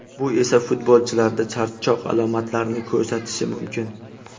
Bu esa futbolchilarda charchoq alomatlarini ko‘rsatishi mumkin.